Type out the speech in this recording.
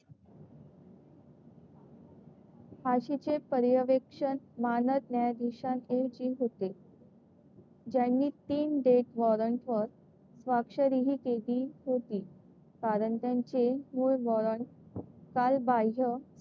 फाशीचे पर्यवेक्षण मानद न्यायाधीशां होते. ज्यांनी तीन डेथ वॉरंट वर स्वाक्षरीही केली होती. कारण त्यांचे मूळ वॉरंट कालबाह्य,